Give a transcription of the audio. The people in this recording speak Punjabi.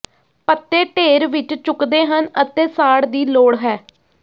ਪੱਤੇ ਢੇਰ ਵਿੱਚ ਚੁੱਕਦੇ ਹਨ ਅਤੇ ਸਾੜ ਦੀ ਲੋੜ ਹੈ